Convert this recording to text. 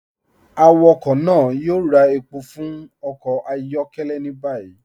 Awakọ náà yóò rà èpọ̀ fún ọkọ ayọkẹlẹ ni báyì.